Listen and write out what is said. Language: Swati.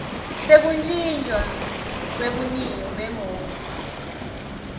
sekutjintjwa kwebuniyo bemoti